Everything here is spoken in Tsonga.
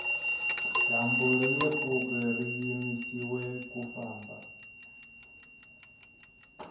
dyambu ringe pfuki ri yimisiwe ku famba